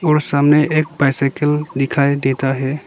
और सामने एक बाइसाईकल दिखाई देता है।